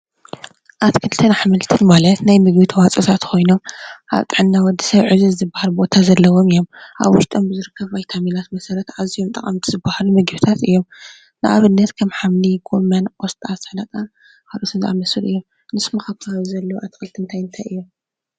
ኣትክልትን ኣሕምልትን ካብቶም ፍልፍል ቫይታሚን ሓደ ኾይኑ ካብቶም ሕማም ተኸላኸልቲ ዝበሃሉ እንኾኑ ከም ስላጣ፣ ቆስጣ ፣ዘይትሁን ወዘተ።